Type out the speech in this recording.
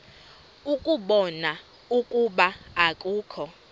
ukubona ukuba akukho